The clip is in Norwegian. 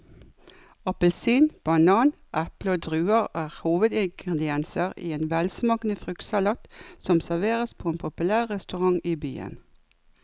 Appelsin, banan, eple og druer er hovedingredienser i en velsmakende fruktsalat som serveres på en populær restaurant i byen.